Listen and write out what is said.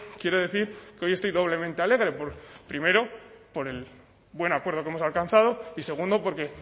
quiero decir que hoy estoy doblemente alegre primero por el buen acuerdo que hemos alcanzado y segundo porque